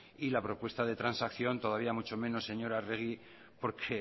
y la propuesta de transacción todavía mucho menos señora arregi porque